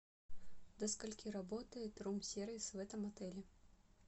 до скольких работает рум сервис в этом отеле